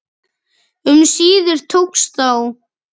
Um síðir tókst þó